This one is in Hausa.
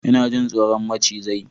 Ina jin tsoron macizai